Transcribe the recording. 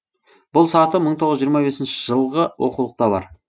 бұл саты мың тоғыз жүз жиырма бесінші жылғы оқулықта бар